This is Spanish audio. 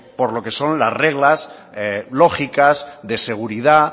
por lo que son las reglas lógicas de seguridad